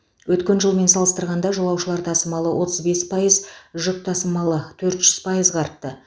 өткен жылмен салыстырғанда жолаушылар тасымалы отыз бес пайыз жүк тасымалы төрт жүз пайызға артты